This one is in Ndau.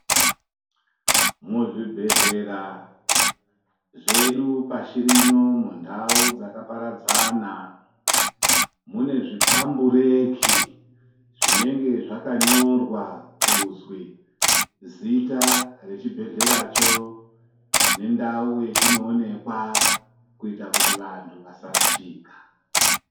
Muzvibhedlera zvedu pashirino mundau dzakaparadzana ,mune zvipampureti zvinenge zvakanyorwa kuzwi zita rechibhedlecho nendau yachinowonekwa kuita kuti vantu vasarashika.